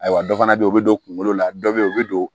Ayiwa dɔ fana bɛ yen o bɛ don kunkolo la dɔ bɛ yen u bɛ don